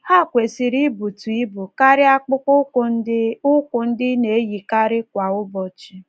Ha kwesịrị ịbụtụ ibụ karịa akpụkpọ ụkwụ ndị ị ụkwụ ndị ị na - eyikarị kwa ụbọchị.